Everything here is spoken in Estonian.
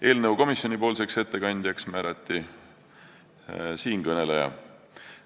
Eelnõu komisjoni ettekandjaks määrati siinkõneleja.